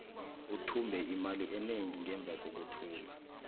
uthumbe imali enengi ngemva kokuthumba